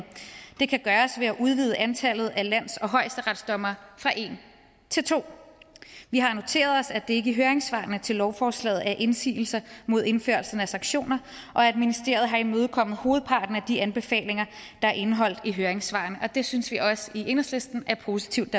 det kan gøres ved at udvide antallet af lands og højesteretsdommere fra en til to vi har noteret os at der ikke i høringssvarene til lovforslaget er indsigelser imod indførelsen af sanktioner og at ministeriet har imødekommet hovedparten af de anbefalinger der er indeholdt i høringssvarene det synes vi også i enhedslisten er positivt